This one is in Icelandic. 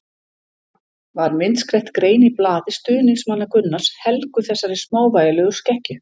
Var myndskreytt grein í blaði stuðningsmanna Gunnars helguð þessari smávægilegu skekkju.